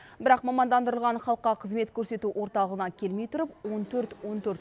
бірақ мамандандырылған халыққа қызмет көрсету орталығына келмей тұрып он төрт он төрт